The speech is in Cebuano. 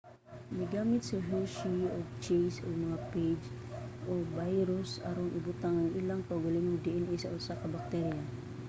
migamit si hershey ug chase og mga phage o mga bayrus aron ibutang ang ilang kaugalingong dna sa usa ka bakterya